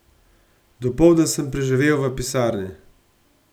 Dopoldne sem preživel v pisarni.